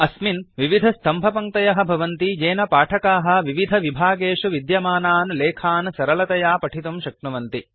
अस्मिन् विविधस्तम्भपङ्क्तयः भवन्ति येन पाठकाः विविधविभागेषु विद्यमानान् लेखान् सरलतया पठितुं शक्नुवन्ति